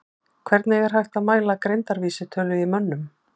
Hvernig er hægt að mæla greindarvísitölu í mönnum?